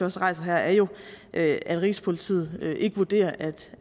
også rejser her er jo at rigspolitiet ikke vurderer